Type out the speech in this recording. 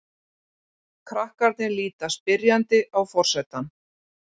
Krakkarnir líta spyrjandi á forsetann.